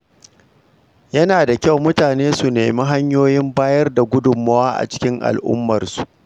Yana da kyau mutane su nemi hanyoyin bayar da gudunmawa a cikin al’ummarsu.